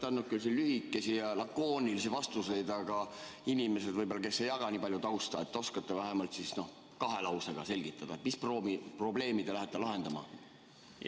Te olete andnud lühikesi ja lakoonilisi vastuseid, aga inimestele, kes ei jaga nii palju tausta, oskate äkki vähemalt kahe lausega selgitada, mis probleemi te lähete lahendama?